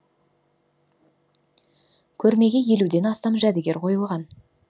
көрмеге елуден астам жәдігер қойылған